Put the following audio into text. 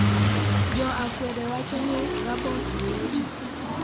Jo akwede wacho ni Gabon olocho